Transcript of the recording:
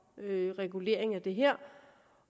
regulering af det her